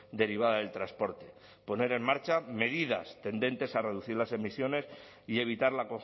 derivada del transporte poner en marcha medidas tendentes a reducir las emisiones y evitar la